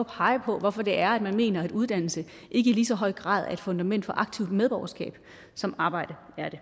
at pege på hvorfor det er man mener at uddannelse ikke i lige så høj grad er et fundament for aktivt medborgerskab som arbejde er det